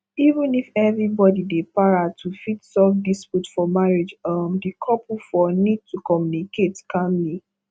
even if everybody dey para to fit solve dispute for marriage um di couple fo need to commmunicate calmly